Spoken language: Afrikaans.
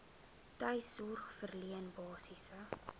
tuissorg verleen basiese